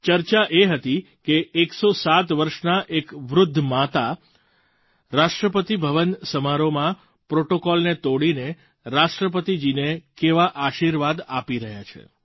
ચર્ચા એ હતી કે એકસો સાત વર્ષનાં એક વૃદ્ધ માતા રાષ્ટ્રપતિભવન સમારોહમાં પ્રૉટોકૉલને તોડીને રાષ્ટ્રપતિજીને કેવા આશીર્વાદ આપી રહ્યાં છે